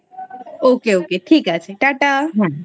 Ok Ok ঠিক আছে tata.